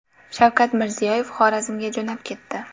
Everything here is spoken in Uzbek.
Shavkat Mirziyoyev Xorazmga jo‘nab ketdi.